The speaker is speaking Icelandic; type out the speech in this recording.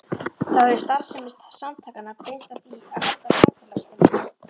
Þá hefur starfsemi samtakanna beinst að því að halda félagsfundi.